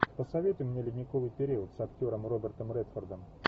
посоветуй мне ледниковый период с актером робертом редфордом